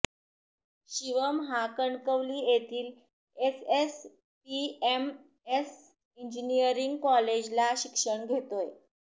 शिवम हा कणकवली येथील SSPMS engineering काँलेजला शिक्षण घेतोय